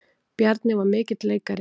Bjarni var mikill leikari.